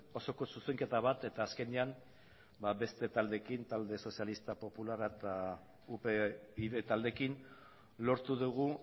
osoko zuzenketa bat eta azkenean ba beste taldeekin talde sozialista popularra eta upyd taldeekin lortu dugu